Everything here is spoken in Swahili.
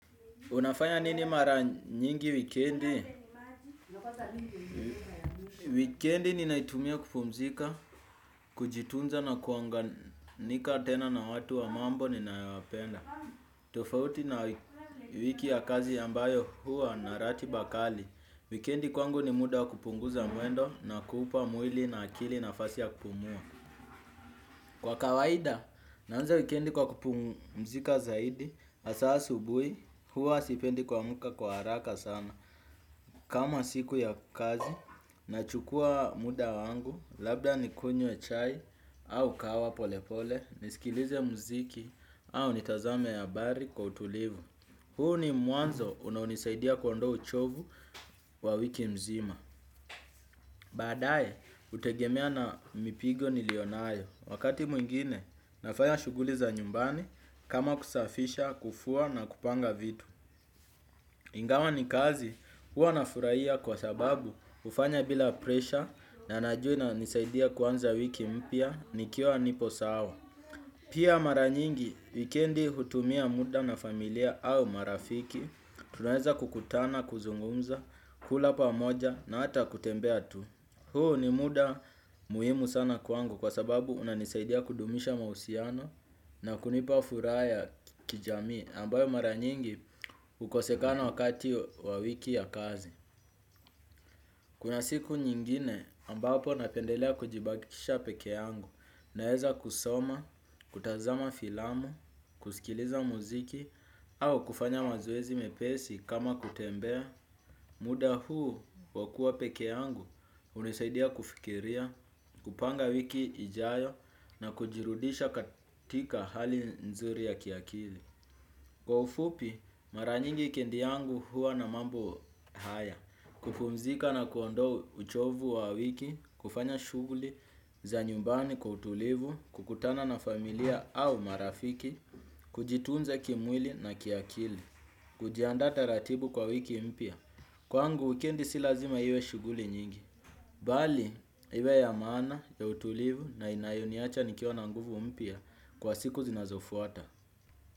Unafanya nini mara nyingi wikendi? Wikendi ni naitumia kupumzika, kujitunza na kuunganika tena na watu wa mambo ninaowapenda. Tofauti na wiki ya kazi ambayo huwa na ratiba kali. Wikendi kwangu ni muda kupunguza mwendo na kuupa mwili na akili nafasi ya kupumua. Kwa kawaida, naanza wikendi kwa kupumzika zaidi, asa asubui, huwa sipendi kuamuka kwa haraka sana. Kama siku ya kazi, nachukua muda wangu, labda nikunywe chai, au kahawa pole pole, nisikilize mziki, au nitazame habari kwa utulivu. Huu ni mwanzo unaonisaidia kuondoa uchovu wa wiki mzima. Badae, utegemea na mipigo nilionayo. Wakati mwingine, nafanya shuguli za nyumbani kama kusafisha, kufua na kupanga vitu. Ingawa ni kazi, huwa nafuraia kwa sababu hufanya bila presha na najua inanisaidia kuanza wiki mpya, nikiwa nipo sawa. Pia mara nyingi, wikendi hutumia muda na familia au marafiki, tunaeza kukutana, kuzungumza, kula pamoja na hata kutembea tu. Huu ni muda muhimu sana kuangu kwa sababu unanisaidia kudumisha mahusiano na kunipa furaha kijamii ambayo mara nyingi ukosekana wakati wa wiki ya kazi. Kuna siku nyingine ambapo napendelea kujibakisha peke yangu naeza kusoma, kutazama filamu, kusikiliza muziki au kufanya mazoezi mepesi kama kutembea. Muda huu wakua peke yangu unasaidia kufikiria, kupanga wiki ijayo na kujirudisha katika hali nzuri ya kiakili. Kwa ufupi, mara nyingi wikendi yangu huwa na mambo haya, kupumzika na kuondoa uchovu wa wiki, kufanya shuguli, za nyumbani kwa utulivu, kukutana na familia au marafiki, kujitunza kimwili na kiakili, kujiandaa taratibu kwa wiki mpya. Kwangu wikendi si lazima iwe shuguli nyingi. Bali, iwe ya maana, ya utulivu na inayoniacha nikiwa na nguvu mpya kwa siku zinazofuata.